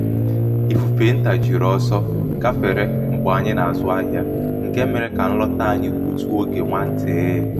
ifufe ntà um jiri oso gáfere mgbe anyị na-azụ ahịa nke mere ka um nlọta anyị gbutụ oge nwa ntịị.